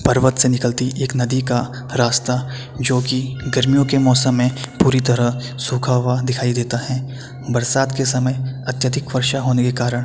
पर्वत से निकलती एक नदी का रास्ता जोकि गर्मियों की मोसम में पूरी तरह सुखा हुआ दिखाई देता है। बरसात के समय अत्यधिक वर्षा होने के कारण --